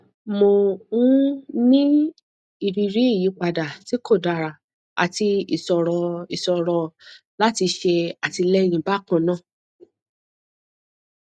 mò ń ní ìrírí ìyípadà tí kò dára àti ìṣòro ìṣòro láti ṣe àtìlẹyìn bákan náà